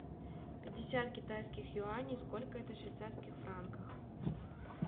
пятьдесят китайских юаней сколько это в швейцарских франках